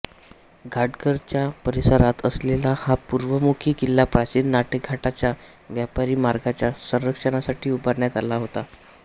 घाटघर च्या परिसरात असलेला हा पूर्वमुखी किल्ला प्राचीन नाणेघाटाच्या व्यापारी मार्गाच्या संरक्षणासाठी उभारण्यात आला होता